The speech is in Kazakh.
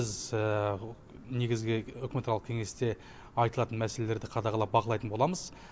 біз негізгі үкіметаралық кеңесте айтылатын мәселелерді қадағалап бақылайтын боламыз